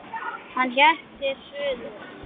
Hann hélt til suðurs.